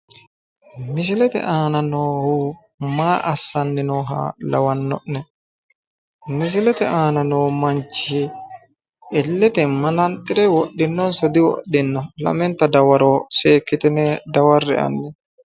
Misilete aana noohu maa aassani nooha lawanno'ne? Misilete aana noo manchi illete mananxire wodhinonso diwodhino? Lamenta dawaro seekkitine dawarre'e hanni.